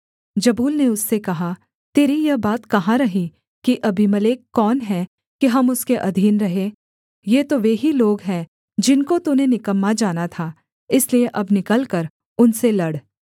जबूल ने उससे कहा तेरी यह बात कहाँ रही कि अबीमेलेक कौन है कि हम उसके अधीन रहें ये तो वे ही लोग हैं जिनको तूने निकम्मा जाना था इसलिए अब निकलकर उनसे लड़